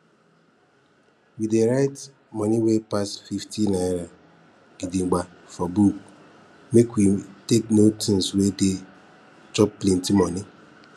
we dey write moni wey pass fifty naira gidigba for book make we take know things wey dey chop plenti moni